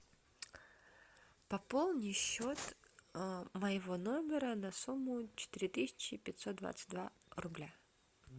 пополни счет моего номера на сумму четыре тысячи пятьсот двадцать два рубля